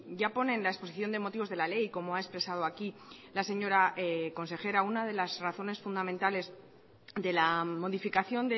ya pone en la exposición de motivos de la ley como ha expresado aquí la señora consejera una de las razones fundamentales de la modificación